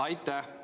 Aitäh!